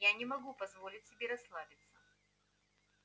я не могу позволить себе расслабиться